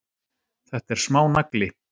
Þetta er smánagli.